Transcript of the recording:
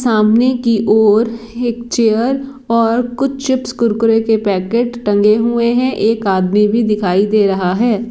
सामने की ओर एक चेयर ओर कुछ चिप्स कुरकुरे के पेकेट टंगे हुए हे एक आदमी भी दिखाई दे रहा हे।